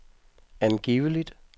angiveligt